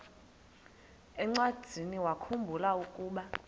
encwadiniwakhu mbula ukuba